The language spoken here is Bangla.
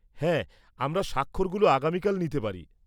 হ্যাঁ, আমরা সাক্ষরগুলো আগামিকাল নিতে পারি।